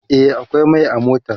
e akwai Mai a motar